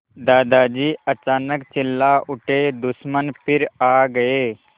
दादाजी अचानक चिल्ला उठे दुश्मन फिर आ गए